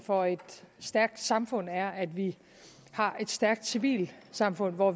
for et stærkt samfund er at vi har et stærkt civilsamfund hvor